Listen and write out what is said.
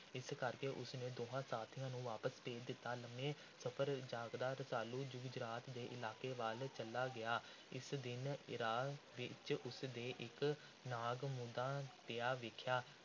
ਇਸ ਕਰਕੇ ਉਸ ਨੇ ਦੋਹਾਂ ਸਾਥੀਆਂ ਨੂੰ ਵਾਪਸ ਭੇਜ ਦਿੱਤਾ। ਲੰਮੇ ਸਫ਼ਰ ਜਾਗਦਾ ਰਸਾਲੂ ਗੁਜਰਾਤ ਦੇ ਇਲਾਕੇ ਵੱਲ ਚਲਾ ਗਿਆ। ਇਕ ਦਿਨ ਰਾਹ ਵਿੱਚ ਉਸ ਨੇ ਇਕ ਨਾਗ ਮੂਧਾ ਪਿਆ ਵੇਖਿਆ।